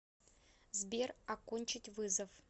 сбер окончить вызов